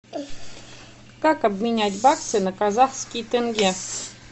как обменять баксы на казахские тенге